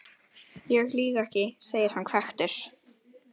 Ég lýg ekki, segir hann hvekktur.